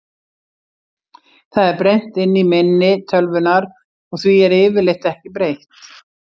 Það er brennt inn í minni tölvunnar og því er yfirleitt ekki breytt.